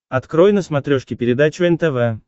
открой на смотрешке передачу нтв